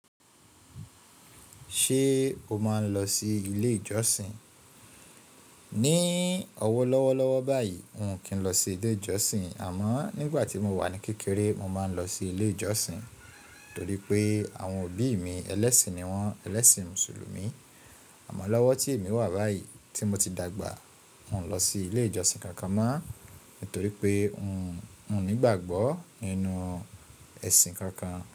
Ṣé o máa ń lọ sí ilé ìjọsìn? Ní ọwọ́ lọ́wọ́ lọ́wọ́ báyìí miò kí n lọ sí ilé ìjọsìn àmọ́ nígbà tí mo wà ní kékeré mo máa ń lọ sí ilé ìjọsìn torí pé àwọn òbí mi ẹlẹ́sìn ni wọ́n, ẹlẹ́sìn mùsùlùmí. Àmọ́ lọ́wọ́ tí èmi wà báyìí tí mo ti dàgbà miò lọ sí ilé ìjọsìn kankan mọ́ nítorí pé mio ni ìgbàgbọ́ inú ẹ̀sìn kankan.